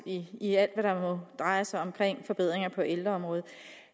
i alt hvad der drejer sig om forbedringer på ældreområdet